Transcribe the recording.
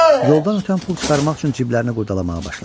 Yoldan ötən pul çıxarmaq üçün cibləri qurdalamağa başladı.